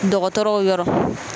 Dɔgɔtɔrɔw yɔrɔ.